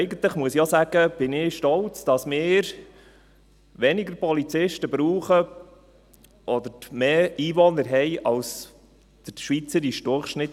Ich muss auch sagen, dass ich eigentlich stolz bin, dass wir weniger Polizisten brauchen, oder im Verhältnis zu den Polizisten mehr Einwohner haben, als der schweizerische Durchschnitt.